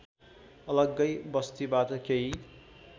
अलग्गै बस्तीबाट केही